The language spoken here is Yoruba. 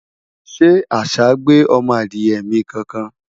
shey àṣà gbé ọmọ Adiye mi kankan?